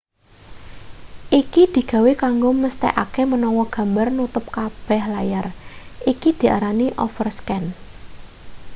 iki digawe kanggo mesthekake menawa gambar nutup kabeh layar iki diarani overscan